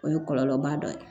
O ye kɔlɔlɔba dɔ ye